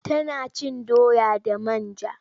Tana cin doya da man ja.